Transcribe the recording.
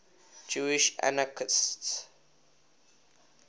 jewish anarchists